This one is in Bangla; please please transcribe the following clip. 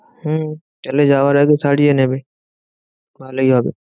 হম তাহলে যাওয়ার আগে সারিয়ে নেবে, ভালোই হবে।